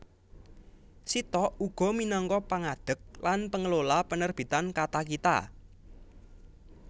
Sitok uga minangka pangadeg lan pengelola Penerbitan Katakita